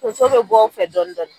Tonso be bɔ o fɛ dɔɔni dɔɔni .